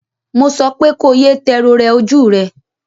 Mo sọ pé ko ye tẹ rorẹ ojú rẹ!